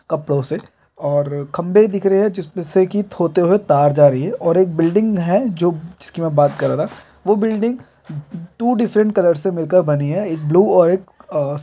कपड़ों से और खंभे दिख रहे हैं और एक बिल्डिंग हैजो जिसकी में बात कर रहा था वह बिल्डिंग टू डिफरेंट कलर से मिलकर बनी है एक ब्लू और एक--